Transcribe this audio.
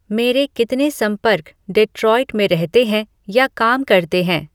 मेरे कितने संपर्क डेट्रॉइट में रहते हैं या काम करते हैं